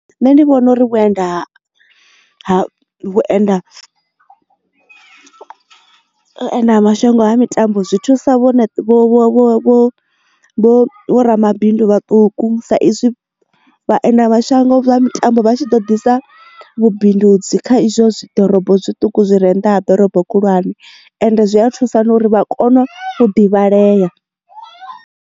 Nṋe ndi vhona uri vhuenda vhuenda mashango ha mitambo zwithu sa vho vho ramabindu vhaṱuku sa izwi vhaendelamashango vha mitambo vha tshi ḓo ḓisa vhubindudzi kha izwo zwi ḓorobo zwituku zwi re nnḓa ha ḓorobo khulwane ende zwi a thusa nauri vha kone u divhalei.